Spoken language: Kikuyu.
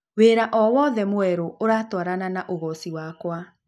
wĩra o wothe mwerũ ũratwarana na ũgooci wakwa